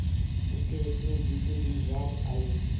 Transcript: उसे अपने बीते दिन याद आए